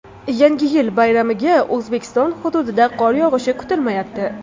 Yangi yil bayramiga O‘zbekiston hududida qor yog‘ishi kutilmayapti.